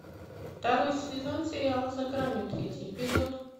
второй сезон сериала за гранью третий эпизод